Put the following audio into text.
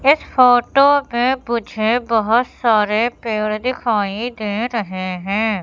इस फोटो में मुझे बहोत सारे पेड़ दिखाई दे रहे हैं।